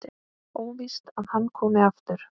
Óvíst að hann komi aftur.